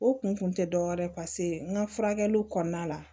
O kun tɛ dɔwɛrɛ ye paseke n ka furakɛli kɔnɔna la